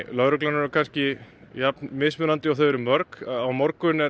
lögreglunnar eru kannski jafn misjöfn og þau eru mörg á morgun er